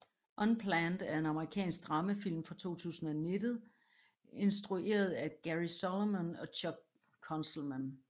Unplanned er en amerikansk dramafilm fra 2019 instrueret af Cary Solomon og Chuck Konzelman